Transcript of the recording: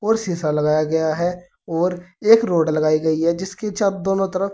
शीशा लगाया गया है और एक रॉड लगाई गई है जिसकी छत दोनों तरफ--